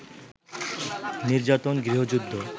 নির্যাতন - গৃহযুদ্ধ